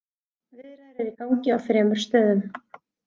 Viðræður eru í gangi á þremur stöðum.